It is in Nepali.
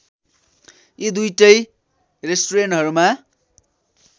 यी दुईटै रेस्टुरेन्टहरूमा